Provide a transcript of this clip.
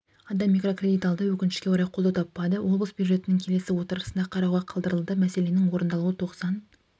адам микрокредит алды өкінішке орай қолдау таппады облыс бюджетінің келесі отырысында қарауға қалдырылды мәселенің орындалуы тоқсан